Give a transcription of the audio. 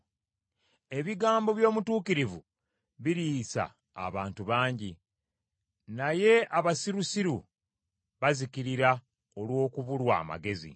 Ebigambo by’omutuukirivu biriisa abantu bangi, naye abasirusiru bazikirira olw’okubulwa amagezi.